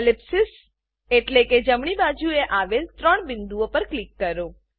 ellipsis ellipsis એટલે કે જમણી બાજુએ આવેલ ત્રણ બિંદુઓ પર ક્લિક કરો